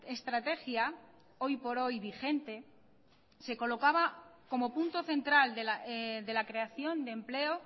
estrategia hoy por hoy vigente se colocaba como punto central de la creación de empleo